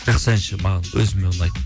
жақсы әнші маған өзіме ұнайды